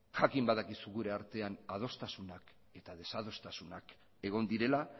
jakin badakizu gure artean adostasunak eta desadostasunak egon direla